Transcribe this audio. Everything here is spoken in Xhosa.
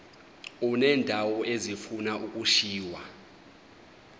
uneendawo ezifuna ukushiywa